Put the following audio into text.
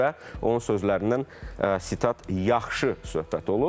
və onun sözlərindən sitat yaxşı söhbət olub.